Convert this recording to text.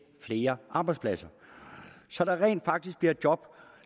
flere arbejdspladser så der rent faktisk bliver job